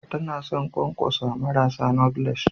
Tana son ƙwanƙwasa marasa knotleless